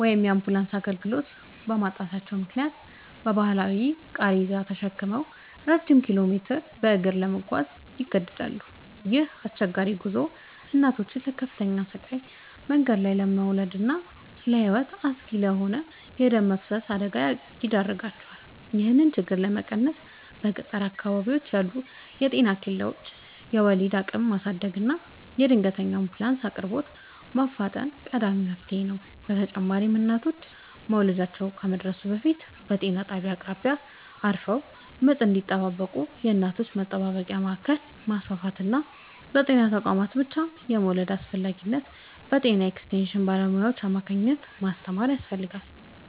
ወይም የአምቡላንስ አገልግሎት በማጣታቸው ምክንያት በባህላዊ ቃሬዛ ተሸክመው ረጅም ኪሎሜትሮችን በእግር ለመጓዝ ይገደዳሉ። ይህ አስቸጋሪ ጉዞ እናቶችን ለከፍተኛ ስቃይ፣ መንገድ ላይ ለመውለድና ለሕይወት አስጊ ለሆነ የደም መፍሰስ አደጋ ይዳርጋቸዋል። ይህንን ችግር ለመቀነስ በገጠር አካባቢዎች ያሉ የጤና ኬላዎችን የወሊድ አቅም ማሳደግና የድንገተኛ አምቡላንስ አቅርቦትን ማፋጠን ቀዳሚው መፍትሔ ነው። በተጨማሪም እናቶች መውለጃቸው ከመድረሱ በፊት በጤና ጣቢያዎች አቅራቢያ አርፈው ምጥ እንዲጠባበቁ የእናቶች መጠባበቂያ ማዕከላትን ማስፋፋትና በጤና ተቋማት ብቻ የመውለድን አስፈላጊነት በጤና ኤክስቴንሽን ባለሙያዎች አማካኝነት ማስተማር ያስፈልጋል።